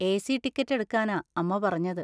A. C ticket എടുക്കാനാ അമ്മ പറഞ്ഞത്.